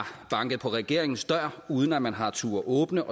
banket på regeringens dør uden at man har turdet åbne